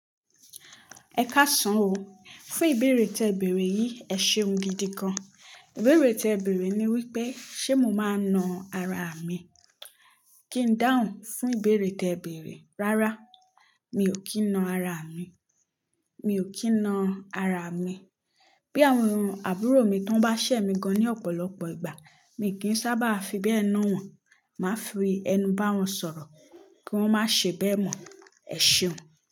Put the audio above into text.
Ẹ káàsán o, fún ìbéèrè tẹ bẹ̀erẹ̀ yìí èṣeun gidi gan. Ìbéèrè tẹ bẹ̀erẹ̀ ni wípé ṣé mo máa na ara mi? Kí n dáhùn fún ìbéèrè tẹ ìbẹ̀rẹ̀, rárá mi ò kí n na ara mi, mi ò kí n na ara mi. Bí àwọn àbúrò mi tó bá ṣẹ̀ mi gan ní ọ̀pọ̀lọpọ̀ ìgbà mi kì í sábà fi bẹ́ẹ̀ na wọ́n, màá fi ẹnu bá wọn sọ̀rọ̀ kí wọ́n má ṣe bẹ́ẹ̀ mọ̀. Ẹ̀ṣeun.